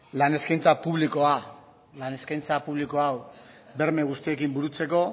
lan eskaintza publikoa lan eskaintza publiko hau berme guzti horiekin burutzeko